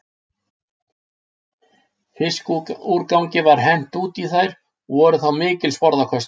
Fiskúrgangi var hent út í þær og voru þá mikil sporðaköst.